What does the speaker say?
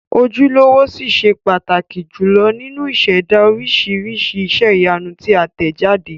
Ojúlówó ṣì ṣe pàtàkì jùlọ nínú ìṣẹ̀dá oríṣiríṣi iṣẹ́ ìyanu tí a tẹ̀ jáde.